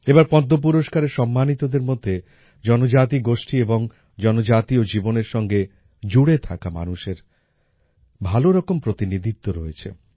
এবার পদ্ম পুরস্কারে সম্মানিতদের মধ্যে জনজাতীয় গোষ্ঠী এবং জনজাতীয় জীবনের সঙ্গে জুড়ে থাকা মানুষের ভালো রকম প্রতিনিধিত্ব রয়েছে